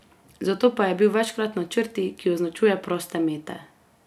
Zato pa je bil večkrat na črti, ki označuje proste mete.